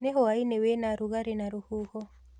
Nĩ hwainĩ wĩna rugarĩ na rũhuho.